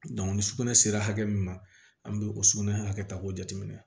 ni sugunɛ sera hakɛ min ma an bɛ o sugunɛ hakɛ ta k'o jateminɛ